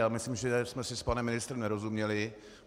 Já myslím, že jsme si s panem ministrem nerozuměli.